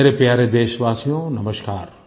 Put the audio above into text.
मेरे प्यारे देशवासियो नमस्कार